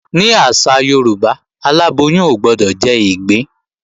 Ní àṣà Yorùbá, aláboyún ò gbọdọ̀ jẹ́ ìgbín